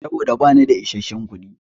Saboda bani da isasshen kuɗi.